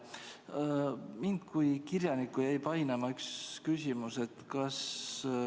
Mind kui kirjanikku jäi painama üks küsimus.